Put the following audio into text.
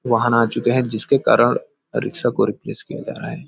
वाहन आ चुके है जिसके कारन रिक्शा को रिप्लेस किया जा रहा है।